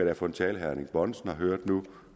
er for en tale herre erling bonnesen har hørt nu